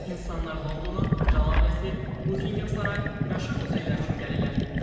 İnsanlar Londona kral ailəsi, Bukingem sarayı, məşhur muzeylər üçün gəlirlər.